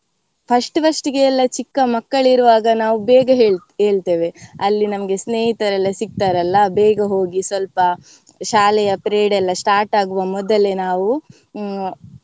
First first ಗೆ ಎಲ್ಲ ಚಿಕ್ಕ ಮಕ್ಕಳಿರುವಾಗ ನಾವ್ ಬೇಗ ಏಳ್~ ಏಳ್ತೆವೆ ಅಲ್ಲಿ ನಮ್ಗೆ ಸ್ನೇಹಿತರೆಲ್ಲಾ ಸಿಗ್ತಾರಲ್ಲ ಬೇಗ ಹೋಗಿ ಸ್ವಲ್ಪ ಶಾಲೆಯ period ಎಲ್ಲಾ start ಆಗುವ ಮೊದಲೆ ನಾವು ಹ್ಮ್.